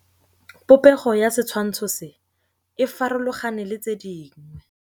Popêgo ya setshwantshô se, e farologane le tse dingwe.